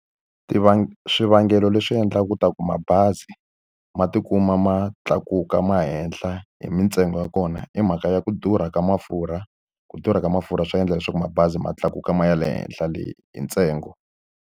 swivangelo leswi endlaka leswaku mabazi ma tikuma ma tlakuka ma ya henhla hi mintsengo ya kona i mhaka ya ku durha ka mafurha. Ku durha ka mafurha swi endla leswaku mabazi ma tlakuka ma ya le henhla le hi ntsengo.